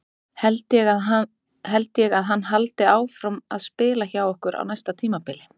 Held ég að hann haldi áfram að spila hjá okkur á næsta tímabili?